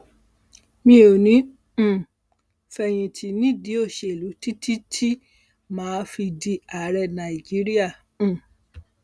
mi ò ní um í fẹyìntì nídìí òṣèlú títí tí mà á fi di ààrẹ nàìjíríà um